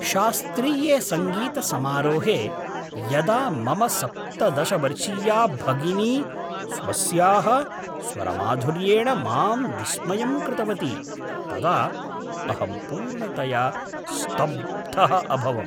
शास्त्रीये सङ्गीतसमारोहे यदा मम सप्तदश वर्षीया भगिनी स्वस्याः स्वरमाधुर्येण मां विस्मयं कृतवती तदा अहं पूर्णतया स्तब्धः अभवम्।